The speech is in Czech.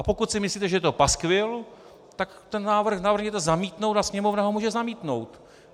A pokud si myslíte, že je to paskvil, tak ten návrh navrhněte zamítnout a Sněmovna ho může zamítnout.